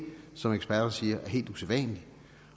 som eksperter siger er helt usædvanligt